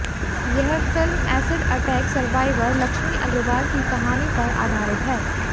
यह film acid attack survivor Lakshmi Agarwal की कहानी पर आधारित है